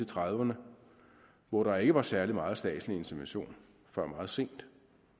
trediverne hvor der ikke var særlig meget statslig intervention før meget sent